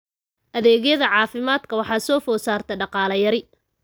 Adeegyada caafimaadka waxaa soo food saartay dhaqaale yari.